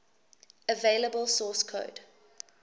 available source code